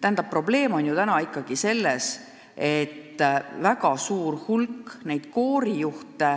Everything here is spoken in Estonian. Tähendab, probleem on ikkagi selles, et väga suur hulk koorijuhte